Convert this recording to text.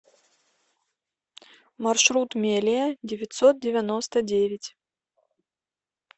маршрут мелия девятьсот девяносто девять